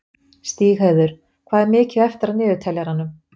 Stígheiður, hvað er mikið eftir af niðurteljaranum?